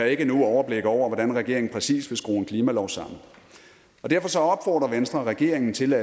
ikke nu overblik over hvordan regeringen præcis vil skrue en klimalov sammen og venstre regeringen til